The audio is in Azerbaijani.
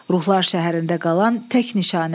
Ruhlar şəhərində qalan tək nişanə.